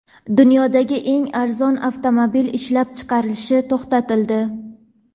Dunyodagi eng arzon avtomobil ishlab chiqarilishi to‘xtatildi.